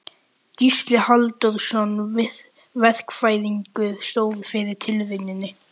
Gísli Halldórsson verkfræðingur stóð fyrir tilrauninni.